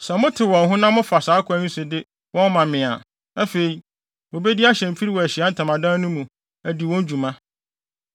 “Sɛ motew wɔn ho na mofa saa kwan yi so de wɔn ma me a, afei, wobedi ahyɛmfiri wɔ Ahyiae Ntamadan no mu, adi wɔn dwuma.